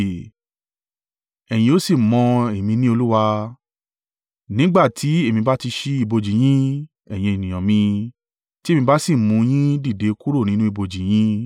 Ẹ̀yin o sì mọ̀ èmi ni Olúwa, nígbà tí èmi bá ti ṣí ibojì yín, ẹ̀yin ènìyàn mi, ti èmi bá si mú un yín dìde kúrò nínú ibojì yín.